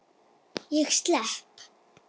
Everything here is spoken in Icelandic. Ég slepp.